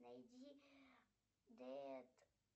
найди дэд